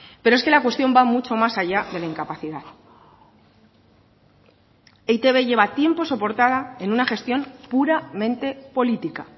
pero es que la cuestión va mucho más allá de la incapacidad e i te be lleva tiempo soportada en una gestión puramente política